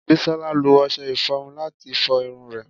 Bisola lo ọṣẹ iforun lati fo irun re